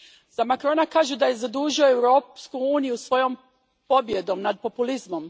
Za Macrona kažu da je zadužio Europsku uniju svojom pobjedom nad populizmom.